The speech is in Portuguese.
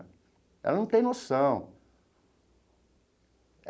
Ela não tem noção.